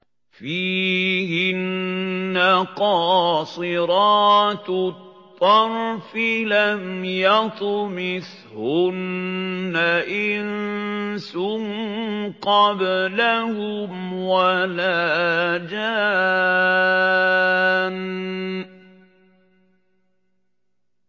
فِيهِنَّ قَاصِرَاتُ الطَّرْفِ لَمْ يَطْمِثْهُنَّ إِنسٌ قَبْلَهُمْ وَلَا جَانٌّ